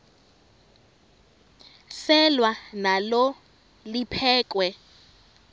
selwa nalo liphekhwe